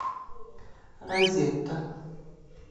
розетта